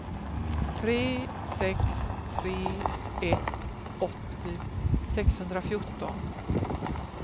tre sex tre ett åttio sexhundrafjorton